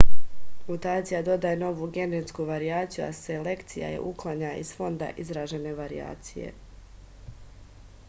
mutacija dodaje novu genetsku varijaciju a selekcija je uklanja iz fonda izražene varijacije